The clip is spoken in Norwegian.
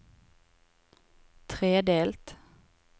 tredelt